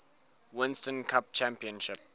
winston cup championship